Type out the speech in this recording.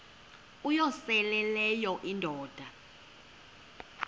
uyosele leyo indoda